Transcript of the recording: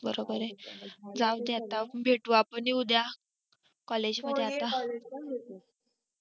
बरोबर आहे जाऊदे आता भेटू आपण उद्या collage मध्ये आता